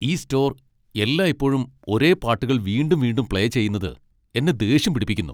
ഈ സ്റ്റോർ എല്ലായ്പ്പോഴും ഒരേ പാട്ടുകൾ വീണ്ടും വീണ്ടും പ്ലേ ചെയ്യുന്നത് എന്നെ ദേഷ്യം പിടിപ്പിക്കുന്നു .